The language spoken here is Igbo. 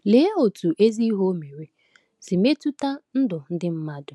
Lee otú ezi ihe o mere si metụta ndụ ndị mmadụ!